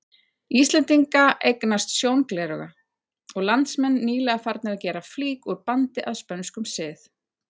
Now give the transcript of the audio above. Íslendinga eignast sjóngleraugu, og landsmenn nýlega farnir að gera flík úr bandi að spönskum sið.